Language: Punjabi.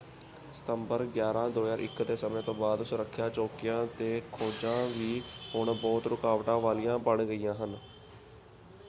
ਸਤੰਬਰ 11 2001 ਦੇ ਸਮੇਂ ਤੋਂ ਬਾਅਦ ਸੁਰੱਖਿਆ ਚੌਕੀਆ 'ਤੇ ਖੋਜਾਂ ਵੀ ਹੁਣ ਬਹੁਤ ਰੁਕਾਵਟਾਂ ਵਾਲੀਆਂ ਬਣ ਗਈਆਂ ਹਨ।